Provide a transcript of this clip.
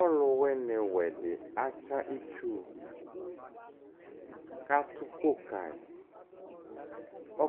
Ɔlʋ wɩnɩ wɛ dɩ atsa itsuKatʋ ʋkʋ kayɩ;